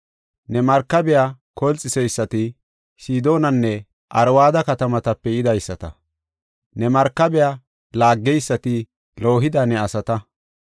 Ne markabiya kolxiseysati Sidoonanne Arwada katamatape yidaysata; ne markabiya laaggeysati loohida ne asata.